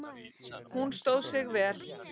Hún stóð sig vel